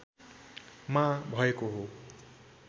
मा भएको हो